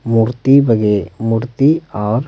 मूर्ति बगे मूर्ति और--